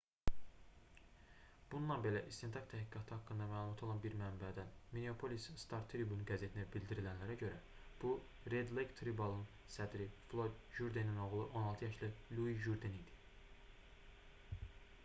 bununla belə istintaq təhqiqatı haqqında məlumatı olan bir mənbədən minneapolis star-tribune qəzetinə bildirilənlərə görə bu red lake tribal"ın sədri floyd jurdenin oğlu 16 yaşlı lui jurden idi